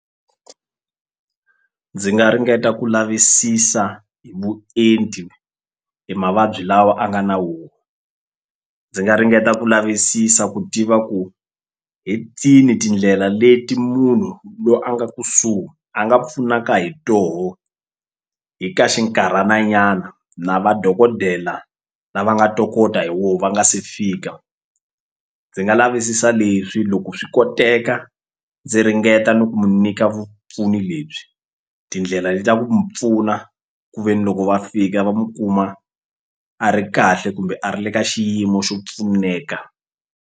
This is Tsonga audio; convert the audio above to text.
Ndzi nga ringeta ku lavisisa hi vuenti e mavabyi lawa a nga na wo ndzi nga ringeta ku lavisisa ku tiva ku hi tini tindlela leti munhu lo a nga kusuhi a nga pfunaka hi toho hi ka xinkarhana nyana na vadokodela lava nga tokota hi wo va nga se fika ndzi nga lavisisa leswi loko swi koteka ndzi ringeta ni ku mu nyika vupfuni lebyi tindlela leta mu pfuna ku ve ni loko va fika va mu kuma a ri kahle kumbe a ri le ka xiyimo xo pfuneka.